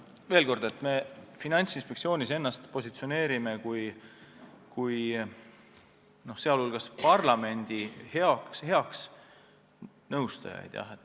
Veel kord, me Finantsinspektsioonis positsioneerime ennast kui muu hulgas ka parlamendi häid nõustajaid.